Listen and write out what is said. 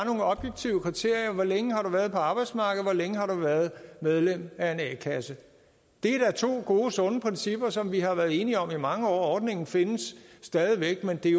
nogle objektive kriterier hvor længe har du været på arbejdsmarkedet hvor længe har du været medlem af en a kasse det er da to gode sunde principper som vi har været enige om i mange år og ordningen findes stadig væk men det